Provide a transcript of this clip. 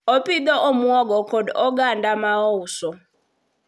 opidho omuogo kod oganda ma ouso